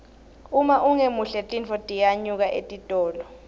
uma ungemuhle tintfo tiyanyuka etitolo